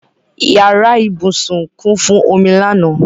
Yàrá ìbúsùn kún fún omi lánàá.